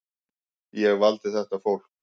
Ég valdi þetta fólk.